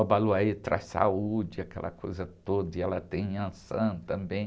Obaloaiê traz saúde, aquela coisa toda, e ela tem Iansã também.